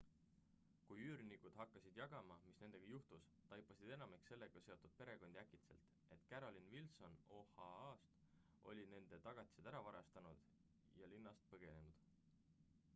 kui üürnikud hakkasid jagama mis nendega juhtus taipasid enamik sellega seotud perekondi äkitselt et carolyn wilson oha-st oli nende tagatised ära varastanud ja linnast põgenenud